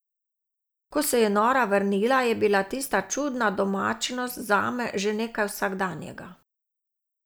Ko se je Nora vrnila, je bila tista čudna domačnost zame že nekaj vsakdanjega.